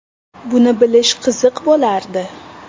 Buni bilish qiziq bo‘lardi.